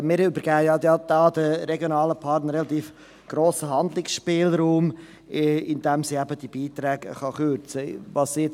Wir übergeben hier den regionalen Partnern relativ grossen Handlungsspielraum, indem sie die Beträge kürzen können.